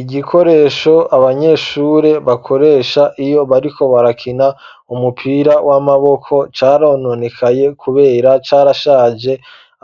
Igikoresho abanyeshure bakoresha iyo bariko barakina umupira w'amaboko carononekaye kubera carashaje